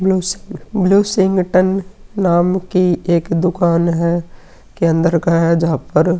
bluish ब्लूएसशिंग्टन नाम की एक दुकान है के अंदर का है जहां पर --